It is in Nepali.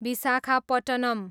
विसाखापट्टनम्